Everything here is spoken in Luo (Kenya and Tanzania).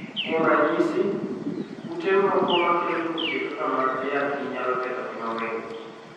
Kuom ranyisi, kute moko makelo tuoche kaka mag ayaki nyalo ketho ngima winy.